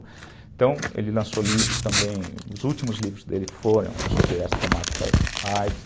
Então, ele lançou livros também, os últimos livros dele foram sobre essa temática a i des.